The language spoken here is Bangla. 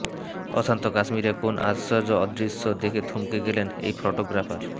অশান্ত কাশ্মীরে কোন আশ্চর্য দৃশ্য দেখে থমকে গেলেন এই ফোটোগ্রাফার